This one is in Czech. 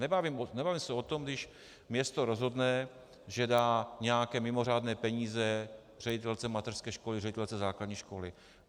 Nebavíme se o tom, když město rozhodne, že dá nějaké mimořádné peníze ředitelce mateřské školy, ředitelce základní školy.